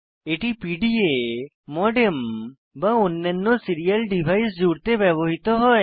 এটি PDA modem বা অন্যান্য সিরিয়াল ডিভাইস জুড়তে ব্যবহৃত হয়